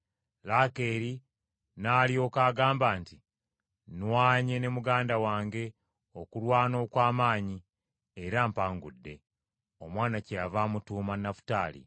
Laakeeri n’alyoka agamba nti, “Nnwanye ne muganda wange okulwana okw’amaanyi era mpangudde;” omwana kyeyava amutuuma Nafutaali.